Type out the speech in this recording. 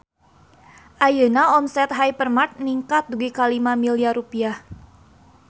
Ayeuna omset Hypermart ningkat dugi ka 5 miliar rupiah